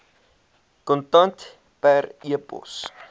kontant per pos